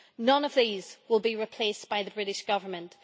None of these will be replaced by the British Government.